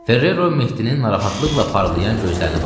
Ferrero Mehdinin narahatlıqla parlayan gözlərinə baxdı.